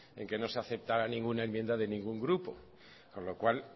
en que no se aceptara ninguna enmienda de ningún grupo con lo cual